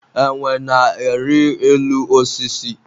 enwe na-ari elu osisi